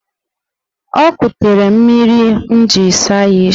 O ekutere mmiri m jiri saa ya isi.